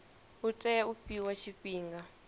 u tea u fhiwa tshifhinga